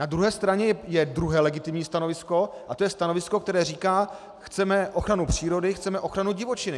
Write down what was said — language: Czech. Na druhé straně je druhé legitimní stanovisko, a to je stanovisko, které říká: chceme ochranu přírody, chceme ochranu divočiny.